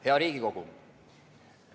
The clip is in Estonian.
Hea Riigikogu!